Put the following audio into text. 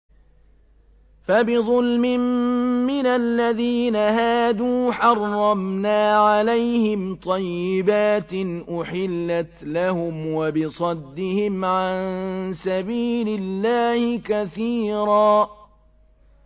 فَبِظُلْمٍ مِّنَ الَّذِينَ هَادُوا حَرَّمْنَا عَلَيْهِمْ طَيِّبَاتٍ أُحِلَّتْ لَهُمْ وَبِصَدِّهِمْ عَن سَبِيلِ اللَّهِ كَثِيرًا